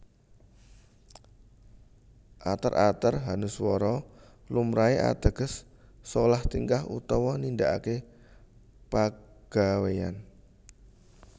Ater ater hanuswara lumrahé ateges solah tingkah utawa nindakaké pagawèyan